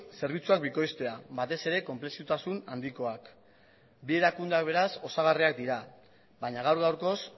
zerbitzuak bikoiztea batez ere konplexotasun handikoak bi erakundeak beraz osagarriak dira baina gaur gaurkoz